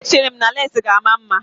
Mba, echere m na leesi ga-aka mma